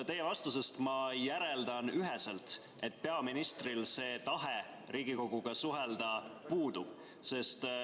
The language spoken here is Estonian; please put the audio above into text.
Teie vastusest ma järeldan üheselt, et peaministril tahe Riigikoguga suhelda puudub.